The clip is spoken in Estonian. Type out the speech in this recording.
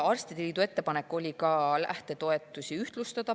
Arstide liidul oli ka ettepanek lähtetoetusi ühtlustada.